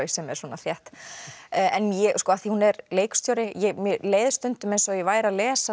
sem er svona þétt en af því hún er leikstjóri mér leið stundum eins og ég væri að lesa